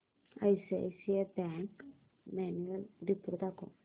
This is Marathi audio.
आयसीआयसीआय बँक अॅन्युअल रिपोर्ट दाखव